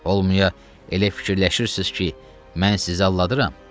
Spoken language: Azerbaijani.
Olmaya elə fikirləşirsiz ki, mən sizi aldadıram.